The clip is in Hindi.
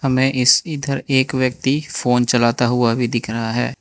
हमें इस इधर एक व्यक्ति फोन चलाता हुआ भी दिख रहा है।